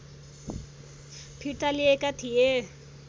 फिर्ता लिएका थिए